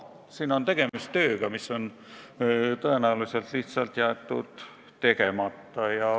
Siin on tegemist tööga, mis on tõenäoliselt lihtsalt jäetud tegemata.